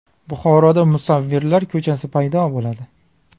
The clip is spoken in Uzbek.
Buxoroda musavvirlar ko‘chasi paydo bo‘ladi.